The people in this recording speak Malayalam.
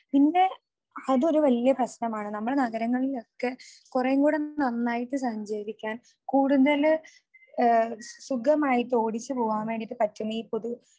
പിന്നെ അതൊരു വലിയ പ്രശ്നമാണ്. നമ്മുടെ നഗരങ്ങളിലൊക്കെ കുറേൻക്കൂടെ ഒന്ന് നന്നായിട്ട് സഞ്ചരിക്കാൻ കൂടുതൽ സുഖമായിട്ട് ഓടിച്ചുപോവാൻ വേണ്ടീട്ട് പറ്റുന്നത് ഈ പൊതു